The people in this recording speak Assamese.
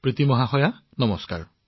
প্ৰীতি জী নমস্কাৰ